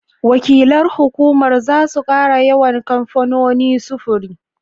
Wakilan hukumar za su ƙara yawan kamfanonin sufuri.